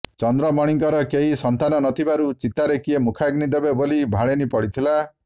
ଚନ୍ଦ୍ରମଣିଙ୍କର କେହି ସନ୍ତାନ ନଥିବାରୁ ଚିତାରେ କିଏ ମୁଖାଗ୍ନି ଦେବ ବୋଲି ଭାଳେଣି ପଡ଼ିଥିଲା